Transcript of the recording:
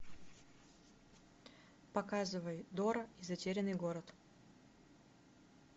показывай дора и затерянный город